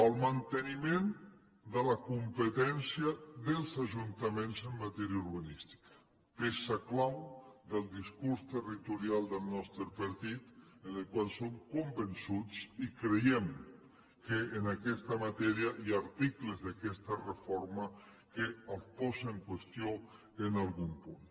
el manteniment de la competència dels ajuntaments en matèria urbanística peça clau del discurs territorial del nostre partit del qual som convençuts i creiem que en aquesta matèria hi ha articles d’aquesta reforma que ho posa en qüestió en algun punt